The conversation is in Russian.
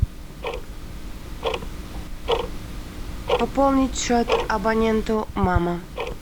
пополнить счет абоненту мама